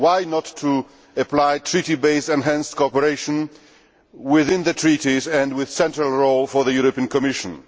Why not apply Treaty based enhanced cooperation within the Treaties, with a central role for the European Commission?